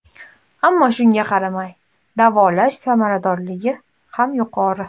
Ammo shunga qaramay, davolash samaradorligi ham yuqori.